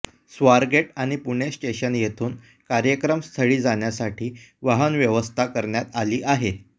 स्वार गेट आणि पुणे स्टेशन येथून कार्यक्रम स्थळी जाण्यासाठी वाहन व्यवस्था कऱण्यात आली आहे